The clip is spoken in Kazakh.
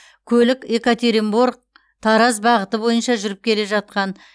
көлік екатеринбор тараз бағыты бойынша жүріп келе жатқан